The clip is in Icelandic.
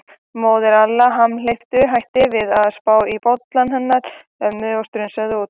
Móðir Alla hamhleypu hætti við að spá í bollann hennar ömmu og strunsaði út.